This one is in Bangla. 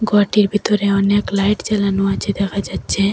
ঘরটির ভিতরে অনেক লাইট জ্বালানো আছে দেখা যাচ্ছে।